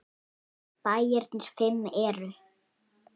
Bæirnir fimm eru